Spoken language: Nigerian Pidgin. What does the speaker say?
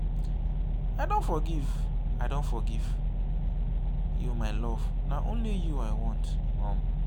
i don forgive i don forgive you my love na only you i want. um